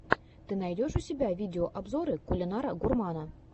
ты найдешь у себя видеообзоры кулинара гурмана